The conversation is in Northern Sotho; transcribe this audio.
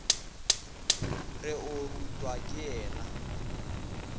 re o rutwa ke yena